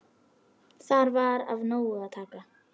Þar var af nógu að taka.